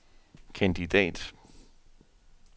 kandidat